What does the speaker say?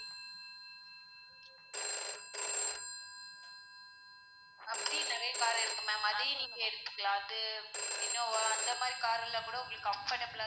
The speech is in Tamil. அப்படி நிறைய car உ இருக்கு ma'am அதே நீங்க எடுத்துக்கலாம் அது innova அந்த மாதிரி car எல்லாம் கூட உங்களுக்கு comfortable லா